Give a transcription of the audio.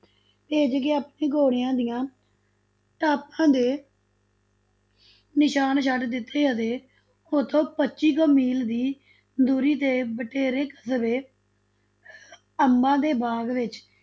ਭੇਜ ਕੇ ਆਪਣੇ ਘੋੜਿਆਂ ਦੀਆਂ ਟਾਪਾਂ ਦੇ ਨਿਸ਼ਾਨ ਛਡ ਦਿੱਤੇ ਅਤੇ ਉੱਥੋਂ ਪੱਚੀ ਕੁ ਮੀਲ ਦੀ ਦੂਰੀ ਤੇ ਬਟੇਰੇ ਕਸਬਾ ਅੰਬਾਂ ਦੇ ਬਾਗ਼ ਵਿੱਚ